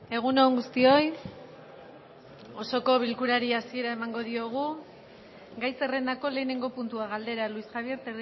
egun on guztioi osoko bilkurari hasiera emango diogu gai zerrendako lehenengo puntua galdera luis javier